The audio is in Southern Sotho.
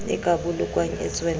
e ka bolokwang e tswella